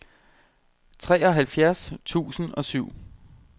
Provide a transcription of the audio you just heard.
treoghalvfjerds tusind og syv